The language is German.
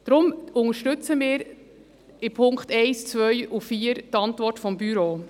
Deshalb unterstützen wir in den Punkten 1, 2 und 4 die Antwort des Büros.